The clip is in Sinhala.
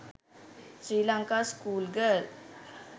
sri lanka school girl